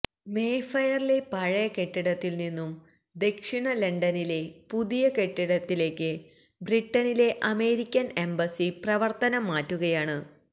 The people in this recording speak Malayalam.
മേഫെയറിലെ പഴയ കെട്ടിടത്തില് നിന്നും ദക്ഷിണ ലണ്ടനിലെ പുതിയ കെട്ടിടത്തിലേക്ക് ബ്രിട്ടനിലെ അമേരിക്കന് എംബസി പ്രവര്ത്തനം മാറ്റുകയാണ്